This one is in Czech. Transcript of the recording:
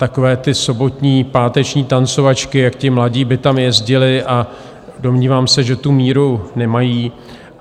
Takové ty sobotní, páteční tancovačky, jak ti mladí by tam jezdili, a domnívám se, že tu míru nemají.